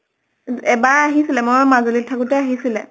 এবাৰ আহিছিলে। মই মাজুলীত থাকোতে আহিছিলে